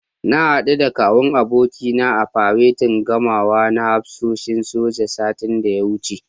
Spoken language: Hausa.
Na haɗu da Kawun abokina a faretin gamawa na hafsoshin soja, satin da ya wuce.